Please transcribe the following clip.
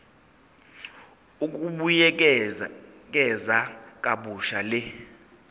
ukubuyekeza kabusha le